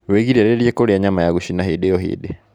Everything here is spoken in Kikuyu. Wĩgirĩrĩrie kũrĩa nyama ya gũcina hĩndi o hĩndĩ